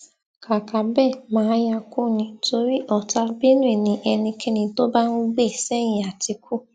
kàkà bẹẹ mà á yáa kú ni torí ọtá benué ni ẹnikẹni tó bá ń gbè sẹyìn àtìkú